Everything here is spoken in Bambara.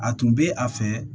A tun bɛ a fɛ